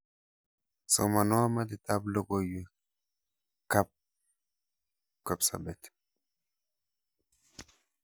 Somanwo metitab logoywek kab kapsabet